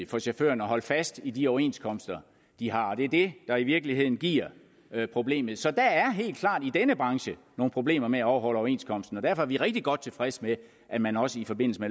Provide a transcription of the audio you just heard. for chaufførerne at holde fast i de overenskomster de har og det er det der i virkeligheden giver problemet så der er helt klart i denne branche nogle problemer med at overholde overenskomsterne og derfor er vi rigtig godt tilfredse med at man også